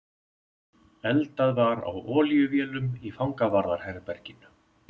Eldað var á olíuvélum í fangavarðar- herberginu.